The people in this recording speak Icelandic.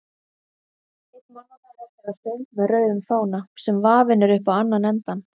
Einn mannanna heldur á stöng með rauðum fána, sem vafinn er upp á annan endann.